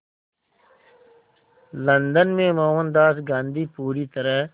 London में मोहनदास गांधी पूरी तरह